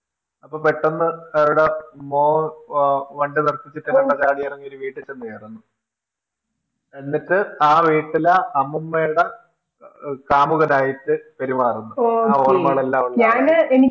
അപ്പൊ പെട്ടന്ന് അവരുട മോന് വണ്ടി നിർത്തിച്ചിട്ടു ചാടി ഇറങ്ങി ഒരു വീട്ടിൽ ചെന്നുകേറുന്നു, എന്നിട്ടു ആ വീട്ടിലെ അമ്മുമ്മയുടെ കാമുകനായിട്ടു പെരുമാറുന്നു ആ ഓര്മകളെല്ലാമുള്ള ഒരു ആളായിട്ടു